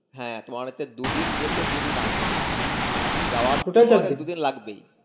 হ্যা তোমার হচ্ছে দু ‍দিন যেতে দুদিন আসতে যাওয়া দুদিন লাগবেই